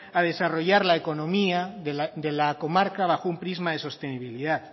a desarrollar la económica de la comarca bajo un prisma de sostenibilidad